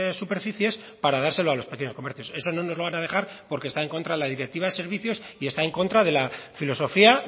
superficies para dárselo a los pequeños comercios eso no nos lo van a dejar porque está en contra de la directiva de servicios y está en contra de la filosofía